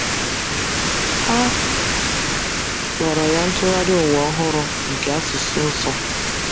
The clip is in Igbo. A kpọrọ ya Ntụgharị Ụwa Ọhụrụ nke Asụsụ Nsọ.